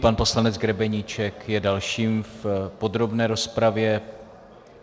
Pan poslanec Grebeníček je další v podrobné rozpravě.